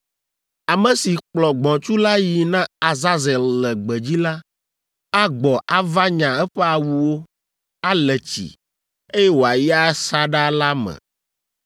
“Ame si kplɔ gbɔ̃tsu la yi na Azazel le gbedzi la, agbɔ ava nya eƒe awuwo, ale tsi, eye wòayi asaɖa la me.